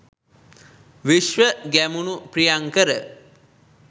Vishwa Gemunu Priyankara